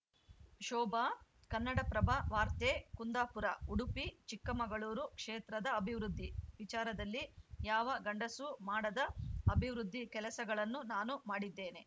ಶೋಭಾ ಕನ್ನಡಪ್ರಭ ವಾರ್ತೆ ಕುಂದಾಪುರ ಉಡುಪಿ ಚಿಕ್ಕಮಗಳೂರು ಕ್ಷೇತ್ರದ ಅಭಿವೃದ್ಧಿ ವಿಚಾರದಲ್ಲಿ ಯಾವ ಗಂಡಸೂ ಮಾಡದ ಅಭಿವೃದ್ಧಿ ಕೆಲಸಗಳನ್ನು ನಾನು ಮಾಡಿದ್ದೇನೆ